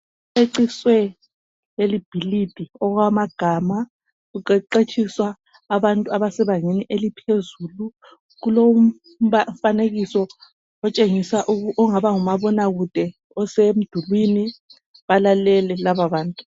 Kuceciswe leli bhilidi okwamagama kuqeqetshiswa abantu abasebangeni eliphezulu kulomfanekiso otshengisa ongaba ngumabona kude osemdulwini balalele lababantu.